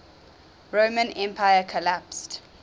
roman empire collapsed